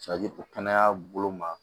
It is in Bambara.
kɛnɛya bolo ma